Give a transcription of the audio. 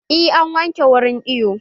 Eh, an wanke wurin iwon